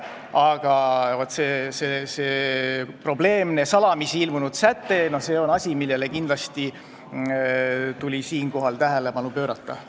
Aga see probleemne salamisi ilmunud säte on asi, millele tuli kindlasti tähelepanu juhtida.